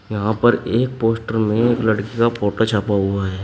यहां पर एक पोस्टर में एक लड़की का फोटो छपा हुआ है।